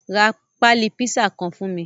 Ra pali pisa kan fun mi